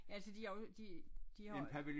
Altså de har jo de de har